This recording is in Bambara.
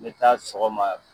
N be taa sɔgɔma